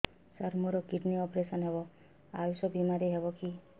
ସାର ମୋର kidney operation ହେବ ଆୟୁଷ ବିମାରେ ହେବ କି